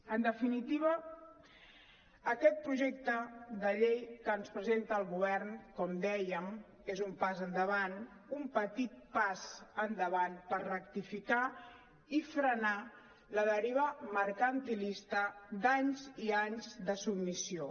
en definitiva aquest projecte de llei que ens presenta el govern com dèiem és un pas endavant un petit pas endavant per rectificar i frenar la deriva mercantilista d’anys i anys de submissió